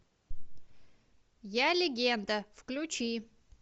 я легенда включи